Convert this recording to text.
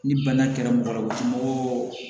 Ni bana kɛra mɔgɔ la u ti mɔgɔ